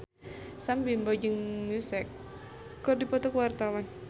Sam Bimbo jeung Muse keur dipoto ku wartawan